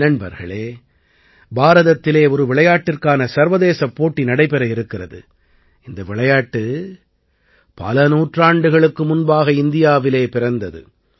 நண்பர்களே பாரதத்திலே ஒரு விளையாட்டிற்கான சர்வதேசப் போட்டி நடைபெற இருக்கிறது இந்த விளையாட்டு பல நூற்றாண்டுகளுக்கு முன்பாக இந்தியாவிலே பிறந்தது